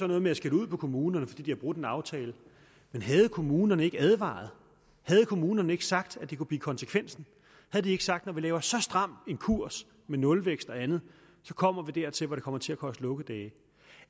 noget med at skælde ud på kommunerne fordi de har brudt en aftale man havde kommunerne ikke advaret havde kommunerne ikke sagt at det kunne blive konsekvensen havde de ikke sagt at når vi laver så stram en kurs med nulvækst og andet så kommer vi dertil hvor det kommer til at koste lukkedage